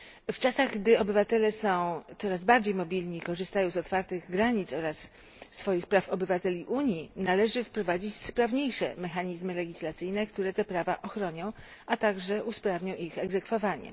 W czasach gdy obywatele są coraz bardziej mobilni i korzystają z otwartych granic oraz swoich praw przysługujących obywatelom Unii, należy wprowadzić sprawniejsze mechanizmy legislacyjne, które te prawa ochronią, a także usprawnią ich egzekwowanie.